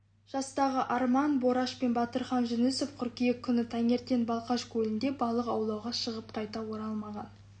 жастағы арман бораш пен батырхан жүнісов қыркүйек күні таңертең балқаш көлінде балық аулауға шығып қайта оралмаған